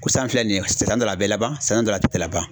Kosan filɛ nin ye san dɔ la a bɛ laban san dɔ la a tɛ laban.